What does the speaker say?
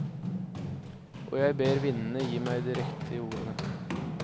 Og jeg ber vindene gi meg de riktige ordene.